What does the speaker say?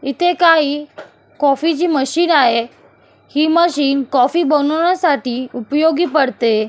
इथे काही कॉफीची मशीन आहेही मशीन कॉफी बनवण्यासाठी उपयोगी पडते.